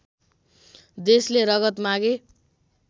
देशले रगत मागे